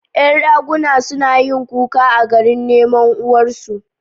Ƴan raguna- suna yin kuka a garin neman uwar su